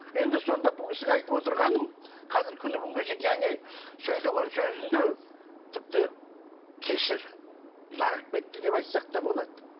енді сонда бұл кісіге айтып отырғаным қазір күні бүгінге шейін және сөйлеген сөзінде тіпті кешір лағып кетті деп айтсақ та болады